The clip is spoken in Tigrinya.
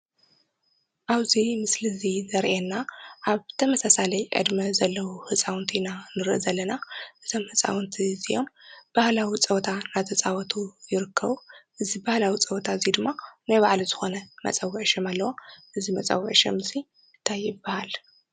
ኣውዙይ ምስል እዙይ ዘርኤና ኣብ ተመጻሳለይ ዕድመ ዘለዉ ሕፃውንቲ ኢና ንርእ ዘለና እዘም ሕፃውንቲ እዚዮም ብህላዊ ጸወታ ናተፃወቱ ይርከዉ እዝ በህላዊ ጸወታ እዙይ ድማ ነይ ባዕለ ዝኾነ መጸውዕ ሸም ኣለዋ እዝ መጸውዕ ሸም እንታይ ይባሃል?